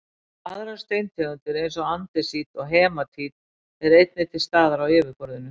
aðrar steintegundir eins og andesít og hematít eru einnig til staðar á yfirborðinu